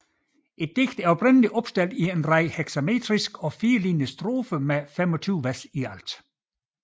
Digtet er oprindeligt opstillet i en række hexametriske og firelinjede strofer med 25 vers i alt